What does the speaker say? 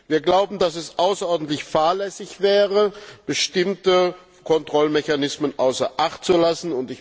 Wir glauben, dass es außerordentlich fahrlässig wäre, bestimmte Kontrollmechanismen außer Acht zu lassen.